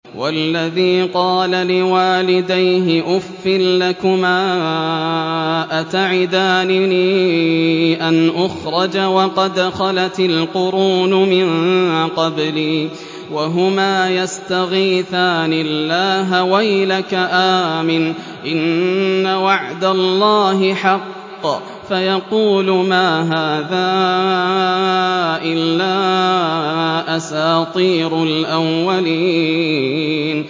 وَالَّذِي قَالَ لِوَالِدَيْهِ أُفٍّ لَّكُمَا أَتَعِدَانِنِي أَنْ أُخْرَجَ وَقَدْ خَلَتِ الْقُرُونُ مِن قَبْلِي وَهُمَا يَسْتَغِيثَانِ اللَّهَ وَيْلَكَ آمِنْ إِنَّ وَعْدَ اللَّهِ حَقٌّ فَيَقُولُ مَا هَٰذَا إِلَّا أَسَاطِيرُ الْأَوَّلِينَ